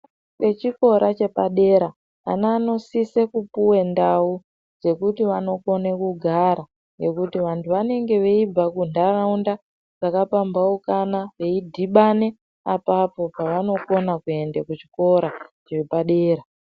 Vechikora chepadera, vana vanosise kupuwe ndau dzekuti vanogara ngekuti vantu vanenge veibva kundaraunda dzaka pambaukana veidhibane apapo pavanokona kuende kuchikora chepadera.